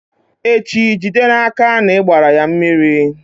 echi, jide n'aka na ị gbara ya mmiri!